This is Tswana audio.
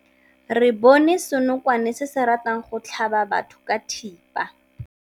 Re bone senokwane se se ratang go tlhaba batho ka thipa.